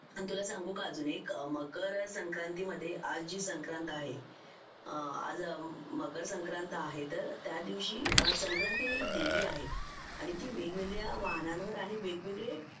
आणि तुला सांगू का अजून एक मकर संक्रांति मध्ये आज जी संक्रांत आहे आज मकर संक्रांत आहे तर त्या दिवशी संक्रांति ही एक देवी आहे आणि ती वेगवेगळ्या वाहनांवर आणि वेगवेगळे